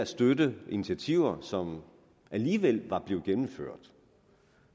støtte initiativer som alligevel var blevet gennemført